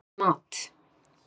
í mat.